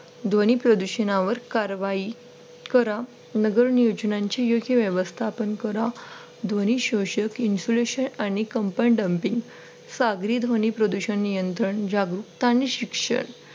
ध्वनी प्रदूषणावर कारवाही करा नगर नियोजनांची योग्य व्यवस्थापन करा ध्वनि शोषक insulation आणि कंपंन damping सागरी ध्वनी प्रदूषण नियंत्रण जागरूकता आणि शिक्षण